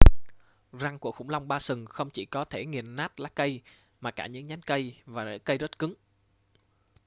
răng của khủng long ba sừng không chỉ có thể nghiền nát lá cây mà cả những nhánh cây và rễ cây rất cứng